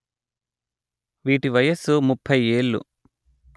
వీటి వయస్సు ముప్పై ఏళ్ళు